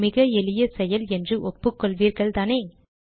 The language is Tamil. இது மிக எளிய செயல் என்று ஒப்புக்கொள்வீர்கள்தானே